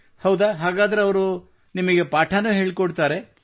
ಹೌದಾ ಹಾಗಾದರೆ ಅಮ್ಮ ನಿಮಗೆ ಪಾಠವನ್ನೂ ಹೇಳಿಕೊಡುತ್ತಾರೆ